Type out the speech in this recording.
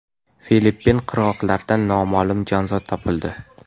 Filippin qirg‘oqlaridan noma’lum jonzot topildi.